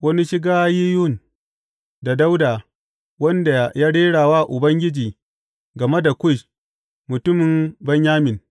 Wani shiggayiyon ta Dawuda, wanda Ya Rera wa Ubangiji game da Kush mutumin Benyamin.